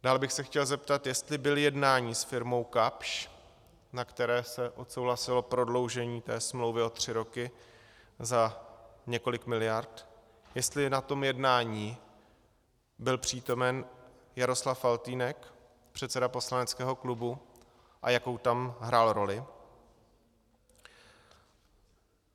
Dále bych se chtěl zeptat, jestli byl jednání s firmou Kapsch, na které se odsouhlasilo prodloužení té smlouvy o tři roky za několik miliard, jestli na tom jednání byl přítomen Jaroslav Faltýnek, předseda poslaneckého klubu, a jakou tam hrál roli.